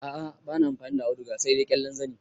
A a bani amfani da auduga sai dai ƙyallen zani.